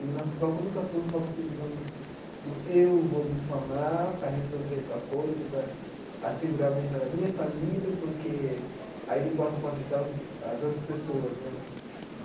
E o nosso foco nunca foi um foco assim, digamos, do eu vou me formar para resolver tal coisa, para assegurar o bem-estar da minha família, porque aí posso posso ajudar os as outras pessoas né.